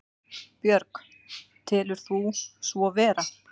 Björg: Telur þú svo vera?